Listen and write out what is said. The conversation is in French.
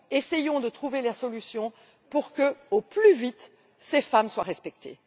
Essayons de trouver la solution pour que, au plus vite, ces femmes soient respectées.